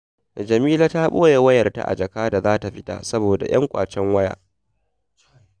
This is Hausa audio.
Jamila ta ɓoye wayarta a jaka da za ta fita saboda 'yan ƙwacen waya